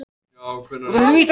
Ég lék alls ekki vel.